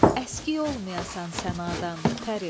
Əski olmayasan sənadan pəri.